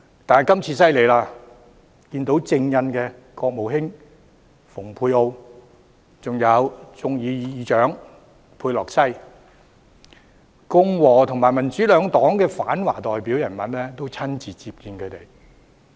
但今次他們很厲害，竟可與正印國務卿蓬佩奧及眾議院院長佩洛西會面，共和與民主兩黨的反華代表人物也親自接見他們。